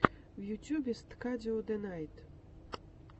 в ютюбе сткдио дэйнайт